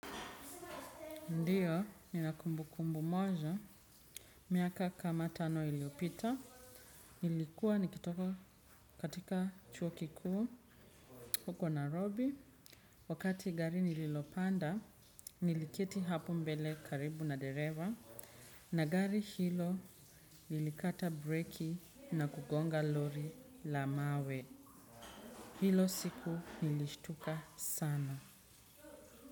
Ndiyo, ni na kumbu kumbu moja. Miaka kama tano iliyopita. Nilikuwa nikitoka katika chuo kikuu. Huko nairobi. Wakati gari nililopanda, niliketi hapo mbele karibu na dereva. Na gari hilo lilikata breki na kugonga lori la mawe. Hilo siku nilishtuka sana.